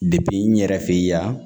n yɛrɛ fɛ yan